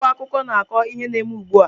Akwụkwọ akụkọ na-akọ ihe na-eme ugbu a.